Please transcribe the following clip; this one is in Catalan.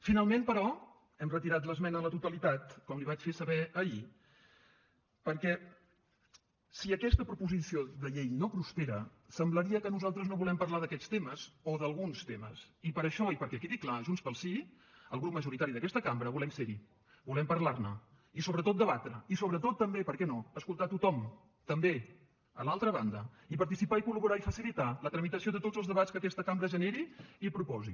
finalment però hem retirat l’esmena a la totalitat com li vaig fer saber ahir perquè si aquesta proposició de llei no prospera semblaria que nosaltres no volem parlar d’aquests temes o d’alguns temes i per això i perquè quedi clar junts pel sí el grup majoritari d’aquesta cambra volem ser hi volem parlar ne i sobretot debatre i sobretot també per què no escoltar tothom també l’altra banda i participar i col·laborar i facilitar la tramitació de tots els debats que aquesta cambra generi i proposi